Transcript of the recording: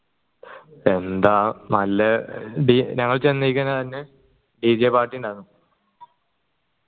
എന്താ നല്ല ഞങ്ങൾ ചെന്നീകുന്നതന്നെ dj party ഇണ്ടാർന്നു